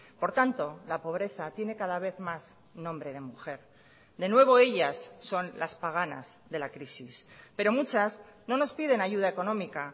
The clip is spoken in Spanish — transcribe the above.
por tanto la pobreza tiene cada vez más nombre de mujer de nuevo ellas son las paganas de la crisis pero muchas no nos piden ayuda económica